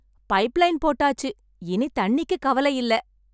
Pipe line போட்டாச்சு. இனி தண்ணிக்கு கவலை இல்லை.